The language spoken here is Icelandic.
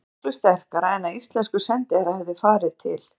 Það sé miklu sterkara en að íslenskur sendiherra hefði farið til